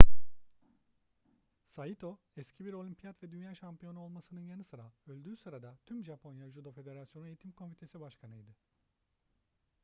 saito eski bir olimpiyat ve dünya şampiyonu olmasının yanı sıra öldüğü sırada tüm japonya judo federasyonu eğitim komitesi başkanıydı